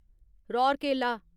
Rourkela